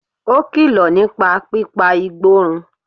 Ó kìlọ̀ nípa pípa igbó run